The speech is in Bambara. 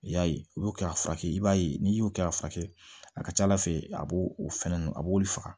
I y'a ye u bɛ kɛ a furakɛ i b'a ye n'i y'o kɛ k'a furakɛ a ka ca ala fɛ a b'o fɛn ninnu a b'olu faga